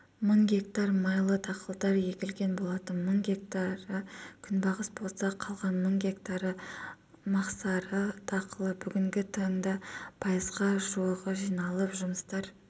мың гектар майлы дақылдар егілген болатын мың гектары күнбағыс болса қалған мың гектары мақсары дақылы бүгінгі таңда пайызға жуығы жиналып жұмыстар